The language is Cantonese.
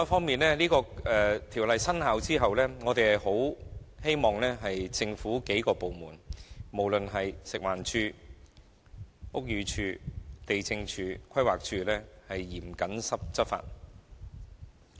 此外，在《條例草案》生效後，我們希望多個政府部門，包括食環署、屋宇署、地政總署及規劃署均能嚴謹執法。